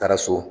Taara so